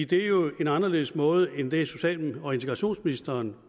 det er jo en anderledes måde end den social og integrationsministeren